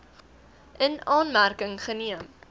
in aanmerking geneem